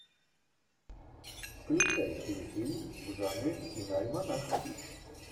включай телефильм в жанре киноальманах